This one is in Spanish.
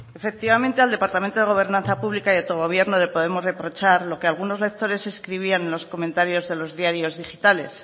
efectivamente al departamento de gobernanza pública y autogobierno le podemos reprochar lo que algunos lectores escribían en los comentarios de los diarios digitales